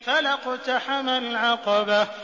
فَلَا اقْتَحَمَ الْعَقَبَةَ